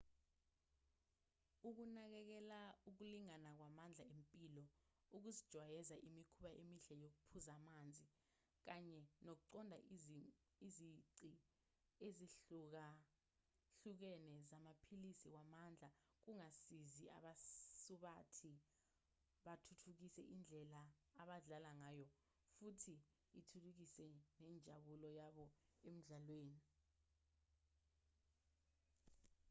ukunakekela ukulingana kwamandla empilo ukuzijwayeza imikhuba emihle yokuphuza amanzi kanye nokuqonda izici ezihlukahlukene zamaphilisi wamandla kungasiza abasubathi bathuthukise indlela abadlala ngayo futhi ithuthukise nenjabulo yabo emidlalweni